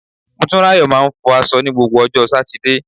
Motunrayo máa ń fọ aṣọ ní gbogbo ọjọ́ Sátidé.